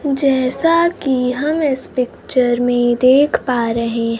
जैसा कि हम इस पिक्चर में देख पा रहे--